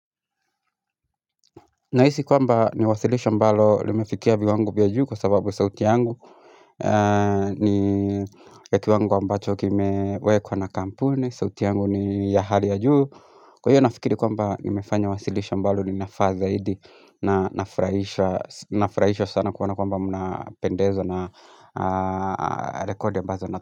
Nahisi kwamba ni wasilisho ambalo limefikia viwango vya juu kwa sababu sauti yangu ni katika kiwango ambacho kimewekwa na kampuni, sauti yangu ni ya hali ya juu kwa hiyo nafikiri kwamba nimefanya wasilisho ambalo linafaa zaidi. Na nafurahisha, nafurahishwa sana kwamba muna pendezwa na rekodi ambazo na.